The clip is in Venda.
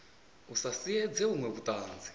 a sa siedze vhuṅwe vhuṱanzi